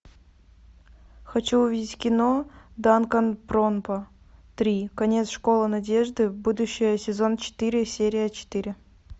хочу увидеть кино данганронпа три конец школы надежды будущее сезон четыре серия четыре